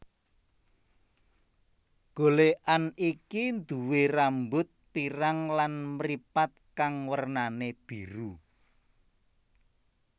Golékan iki nduwé rambut pirang lan mripat kang wernané biru